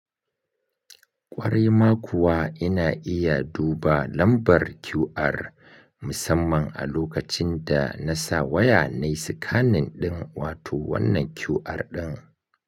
Ƙwarai ma kuwa ina iya duba lambar QR musamman a lokacin da na sa waya na yi scanning ɗin wato wannan QR ɗin.